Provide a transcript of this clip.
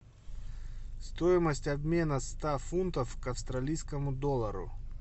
стоимость обмена ста фунтов к австралийскому доллару